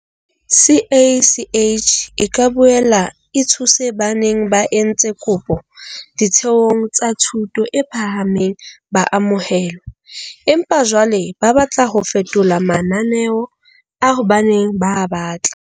CACH e ka boela e thuse ba neng ba entse kopo ditheong tsa thuto e phahameng ba amohelwa, empa jwale ba batla ho fetola mananeo ao ba neng ba a batla.